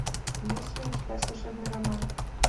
есть ли у тебя служебный роман